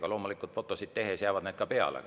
Aga loomulikult fotosid tehes jäävad need ka peale.